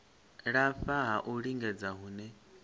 lafha ha u lingedza hune